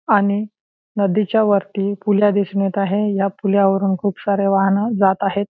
आणि नदीच्या वरती पुल्या दिसून येत आहे आणि पुल्या वरुन खूप सारी वाहन जातं आहेत.